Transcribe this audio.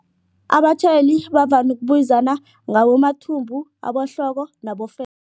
Abatjhayeli bavame ukubizana ngabomathumbu abohloko